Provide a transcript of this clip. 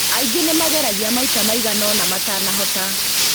Aingĩ nĩ mageragia maita maigana ũna matanahota.